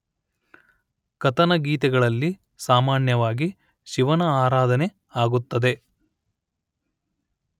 ಕಥನಗೀತೆಗಳಲ್ಲಿ ಸಾಮಾನ್ಯವಾಗಿ ಶಿವನ ಆರಾಧನೆ ಆಗುತ್ತದೆ